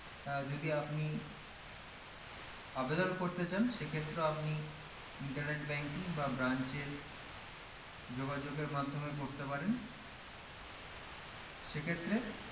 আহ যদি আপনি আবেদন করতে চান সেক্ষেত্রেও আপনি internet banking বা branch এর যোগাযোগ এর মাধ্যমে করতে পারেন সেক্ষেত্রে